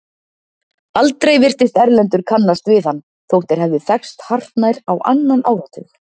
Aldrei virtist Erlendur kannast við hann þótt þeir hefðu þekkst hartnær á annan áratug.